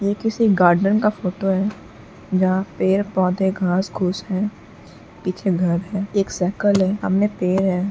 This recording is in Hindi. ये किसी गार्डन का फोटो है जहाँ पेड़ पौधे घास घूस हैं। पीछे घर है। एक साइकिल है। सामने पेड़ है।